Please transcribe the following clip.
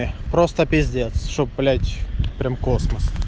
просто пиздец что блять прям космос